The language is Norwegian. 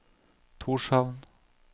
Tórshavn